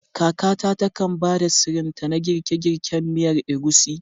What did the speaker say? Kakata takan ba da sirrinta na girke-girken miyar Egusi.